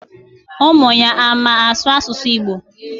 Umuya ama asu asusu Igbo?